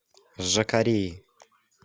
жакареи